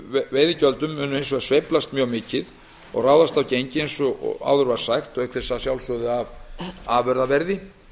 veiðigjöldum munu hins vegar sveiflast mjög mikið og ráðast af gengi eins og áður var sagt og auk þess að sjálfsögðu af afurðaverði